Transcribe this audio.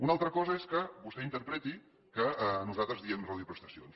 una altra cosa és que vostè interpreti que nosaltres diem reduir prestacions